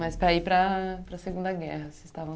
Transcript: Mas para ir para a para a Segunda Guerra.